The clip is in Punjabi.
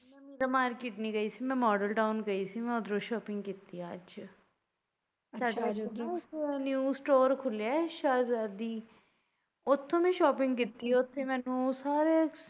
ਮੈਂ market ਨੀ ਗਈ ਸੀ ਮੈਂ ਮਾਡਲ ਟਾਊਨ ਗਈ ਸੀ ਮੈਂ ਉੱਧਰੋਂ shopping ਕੀਤੀ ਐ ਅੱਜ ਸਾਡੇ ਨਾ new store ਖੁੱਲਿਆ ਐ ਅੱਜ ਉੱਥੋ ਮੈ shopping ਕੀਤੀ ਐ ਉੱਥੋਂ ਮੈਨੂੰ ਸਾਰਿਆ।